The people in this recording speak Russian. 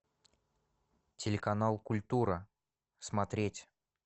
телеканал культура смотреть